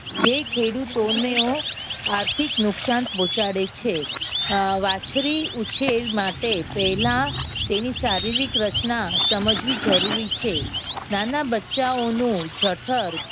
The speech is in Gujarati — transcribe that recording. જે ખેડૂતોનું આર્થિક નુકસાન પહોંચાડે છે. અમ વાચળી ઉછેર માટે પહેલા તેની શારીરિક રચના સમજવી જરૂરી છે. નાના બચ્ચાઓનો જઠર